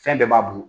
Fɛn bɛɛ b'a bolo